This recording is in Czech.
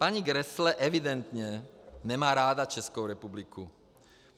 Paní Grässle evidentně nemá ráda Českou republiku.